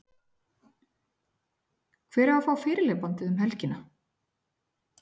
Hver á að fá fyrirliðabandið um helgina?